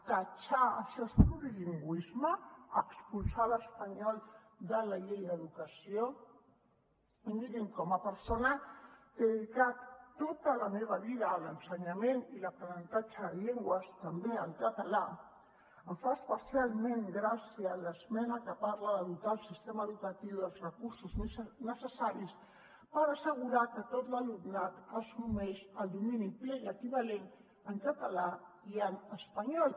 tatxar això és plurilingüisme expulsar l’espanyol de la llei d’educació mirin com a persona que he dedicat tota la meva vida a l’ensenyament i l’aprenentatge de llengües també el català em fa especialment gràcia l’esmena que parla de dotar el sistema educatiu dels recursos necessaris per assegurar que tot l’alumnat assumeix el domini ple i equivalent en català i en espanyol